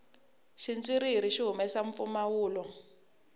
xitswiriri xi humesa mpfumawulo